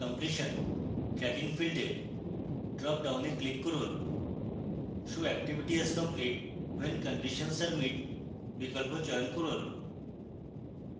completion tracking field এর dropdown click করুন show activity as complete when conditions are met বিকল্প চয়ন করুন